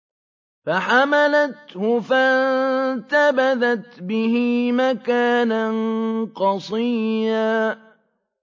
۞ فَحَمَلَتْهُ فَانتَبَذَتْ بِهِ مَكَانًا قَصِيًّا